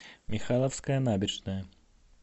михайловская набережная